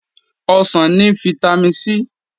Ọsàn ni fítámìn C